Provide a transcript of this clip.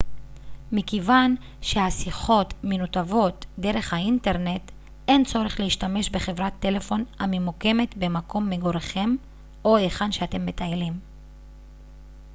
מכיוון שהשיחות מנותבות דרך האינטרנט אין צורך להשתמש בחברת טלפון הממוקמת במקום מגוריכם או היכן שאתם מטיילים